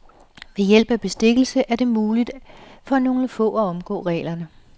Ved hælp af bestikkelse er det muligt for nogle få at omgå reglerne.